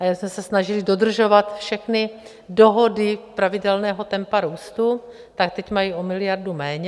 A já jsem se snažila dodržovat všechny dohody pravidelného tempa růstu, tak teď mají o miliardu méně.